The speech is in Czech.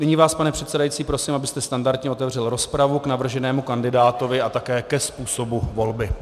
Nyní vás, pane předsedající, prosím, abyste standardně otevřel rozpravu k navrženému kandidátovi a také ke způsobu volby.